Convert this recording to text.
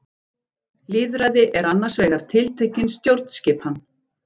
Lýðræði er annars vegar tiltekin stjórnskipan.